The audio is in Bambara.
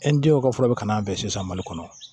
denw ka fɔlɔ bɛ ka n'an fɛ sisan mali kɔnɔ